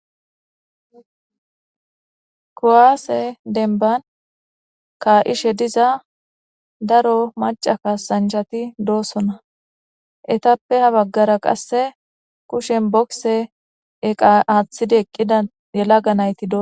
kuwaase denban ka ishe diza daro maca ka sanjhati doosona etappe ha baggara qasse kushen bokse eqa aaththida eqqida yelaga nayti doo.